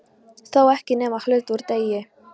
Þó ekki nema hluta úr degi.